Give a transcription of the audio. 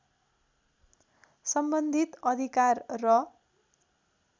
सम्बन्धित अधिकार र